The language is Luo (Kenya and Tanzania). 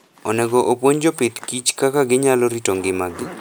Onego opuonj jopith kich kaka ginyalo rito ngimagi.